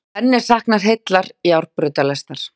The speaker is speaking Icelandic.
Enn er saknað heillar járnbrautalestar